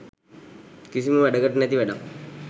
කිසිම වැඩකට නැති වැඩක්.